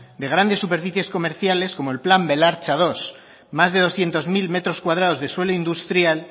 de grandes superficies comerciales como el plan belartzamenos dos más de doscientos mil metros cuadrados de suelo industrial